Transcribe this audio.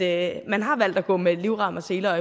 at man har valgt at gå med livrem og seler